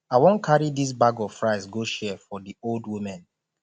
i wan carry dis bag of rice go share for di old women